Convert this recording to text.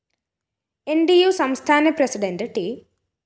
ന്‌ ട്‌ ഉ സംസ്ഥാന പ്രസിഡന്റ് ട്‌